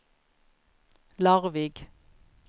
Larvik